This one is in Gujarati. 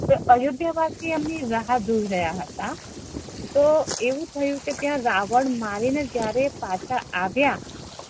તો અયોધ્યા વાસી એમની રાહ જોઈ રહયા હેતા તો આવું થયુ કે ત્યા રાવણ મારી ને એ પાછા આવ્યા